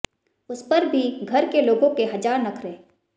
उस पर भी घर के लोगों के हजार नखरे